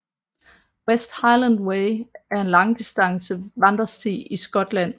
West Highland Way er en langdistance vandresti i Skotland